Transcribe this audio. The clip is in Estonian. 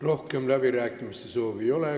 Rohkem kõnesoove ei ole.